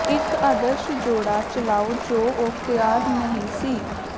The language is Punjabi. ਇਕ ਆਦਰਸ਼ ਜੋੜਾ ਚਲਾਓ ਜੋ ਉਹ ਤਿਆਰ ਨਹੀਂ ਸੀ